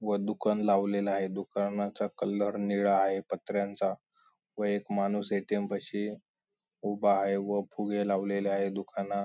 व दुकान लावलेलं आहे दुकानाचा कलर निळा आहे पत्र्यांचा व एक माणूस ए.टी.एम. पशी उभा आहे व फुगे लावलेले आहे दुकाना--